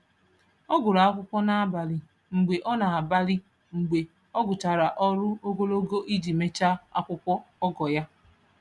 Ọ gụrụ akwụkwọ n’abalị mgbe ọ n’abalị mgbe ọ gụchara ọrụ ogologo iji mechaa akwụkwọ ogo ya.